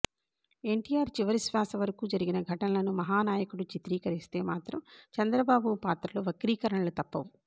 ఎన్టీఆర్ చివరి శ్వాస వరకూ జరిగిన ఘటనలను మహానాయకుడు చిత్రీకరిస్తే మాత్రం చంద్రబాబు పాత్రలో వక్రీకరణలు తప్పవు